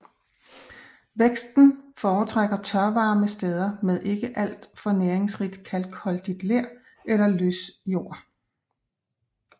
Væksten foretrækker tørvarme steder med ikke alt for næringsrigt kalkholdigt ler eller løssjord